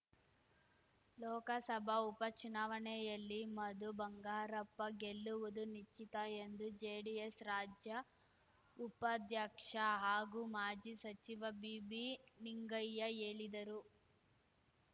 ಲೋಕಸಭಾ ಉಪಚುನಾವಣೆಯಲ್ಲಿ ಮಧು ಬಂಗಾರಪ್ಪ ಗೆಲ್ಲುವುದು ನಿಶ್ಚಿತ ಎಂದು ಜೆಡಿಎಸ್‌ ರಾಜ್ಯ ಉಪಾಧ್ಯಕ್ಷ ಹಾಗೂ ಮಾಜಿ ಸಚಿವ ಬಿಬಿ ನಿಂಗಯ್ಯ ಯೇಳಿದರು